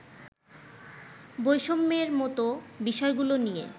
বৈষম্যের মতো বিষয়গুলো নিয়ে